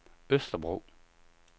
Østerbro